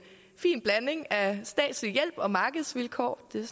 fin blanding af statslig hjælp og markedsvilkår det